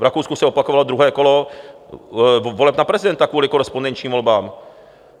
V Rakousku se opakovalo druhé kolo voleb na prezidenta kvůli korespondenčním volbám.